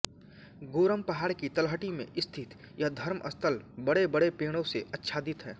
गोरम पहाड़ की तलहटी में स्थित यह धर्म स्थल बड़ेबड़े पेड़ों से आच्छादित है